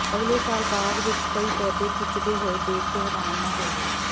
ਅਗਲੇ ਸਾਲ ਬਾਗ ਵਿਚ ਕਈ ਪੌਦੇ ਖਿੱਚਦੇ ਹੋਏ ਦੇਖ ਕੇ ਹੈਰਾਨ ਨਾ ਹੋਵੋ